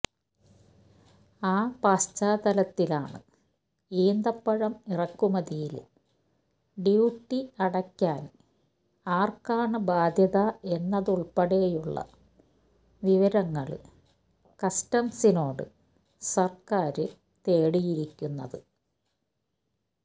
ആ പശ്ചാത്തലത്തിലാണ് ഈന്തപ്പഴം ഇറക്കുമതിയില് ഡ്യൂട്ടി അടയ്ക്കാന് ആര്ക്കാണ് ബാധ്യത എന്നതുള്പ്പെടെയുള്ള വിവരങ്ങള് കസ്റ്റംസിനോട് സര്ക്കാര് തേടിയിരിക്കുന്നത്